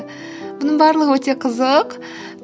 мұның барлығы өте қызық